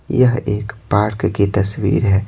यह एक पार्क की तस्वीर है।